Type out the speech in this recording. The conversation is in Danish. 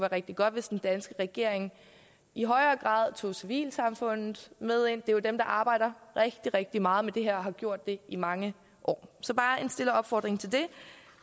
rigtig godt hvis den danske regering i højere grad tog civilsamfundet med ind det er jo dem der arbejder rigtig rigtig meget med det her og har gjort det i mange år så bare en stille opfordring til det